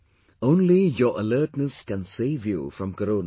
Only your alertness can save you from corona